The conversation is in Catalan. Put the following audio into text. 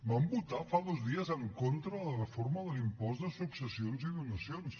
van votar fa dos dies en contra de la reforma de l’impost de successions i donacions